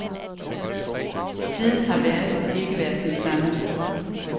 Siden har verden ikke været den samme.